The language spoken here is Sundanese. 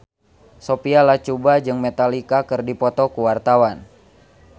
Sophia Latjuba jeung Metallica keur dipoto ku wartawan